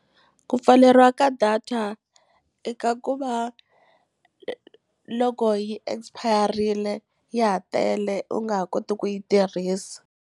Ku pfaleriwa ka data eka ku va loko yi expire-rile ya ha tele u nga ha koti ku yi tirhisa.